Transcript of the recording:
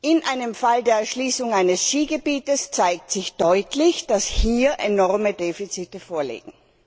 In einem Fall der Erschließung eines Skigebietes zeigt sich deutlich, dass hier enorme Defizite vorliegen.